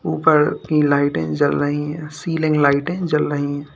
ऊपर की लाइटें जल रही है सीलिंग लाइटें जल रही हैं।